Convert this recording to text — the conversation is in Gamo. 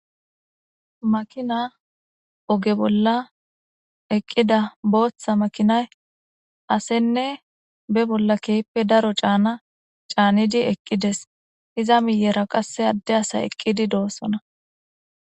Makina oge bola eqida botha makinay asene ba bola kehippe daro cana babola canidi eqides iza miyera qase adde asay eqidi dosona.